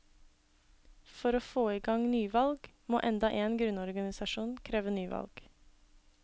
For å få i gang nyvalg må enda én grunnorganisasjon kreve nyvalg.